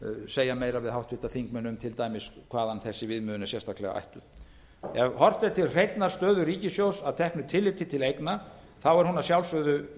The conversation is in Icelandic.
segja meira við háttvirtir þingmenn um til dæmis hvaðan þessi viðmiðun er sérstaklega ættuð ef horft er til hreinnar stöðu ríkissjóðs að teknu tilliti til eigna er hún að sjálfsögðu